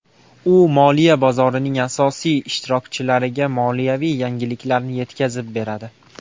U moliya bozorining asosiy ishtirokchilariga moliyaviy yangiliklarni yetkazib beradi.